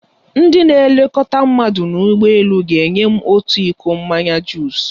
Ndị na-elekọta mmadụ n'ụgbọ elu ga-enye m otu iko mmanya juus.